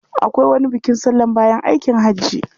Akwai wani bukin sallan lokacin aikin haji.